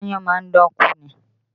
Aáyán máa dán kú ni